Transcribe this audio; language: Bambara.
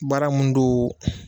Baara mun don